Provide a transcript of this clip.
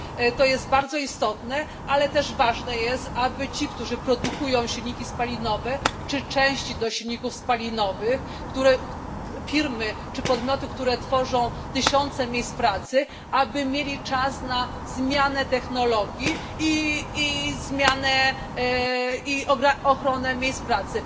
To jest bardzo istotne, ale też ważne jest, aby ci, którzy produkują silniki spalinowe czy części do silników spalinowych, firmy czy podmioty, które tworzą tysiące miejsc pracy, aby mieli czas na zmianę technologii i ochronę miejsc pracy.